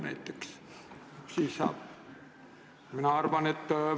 Mis siis saab?